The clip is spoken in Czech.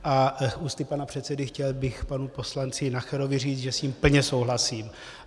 A ústy pana předsedy chtěl bych panu poslanci Nacherovi říct, že s ním plně souhlasím.